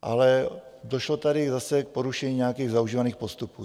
Ale došlo tady zase k porušení nějakých zaužívaných postupů.